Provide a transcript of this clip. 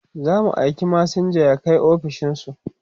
zamu aika masinja ya Kai ofishinsu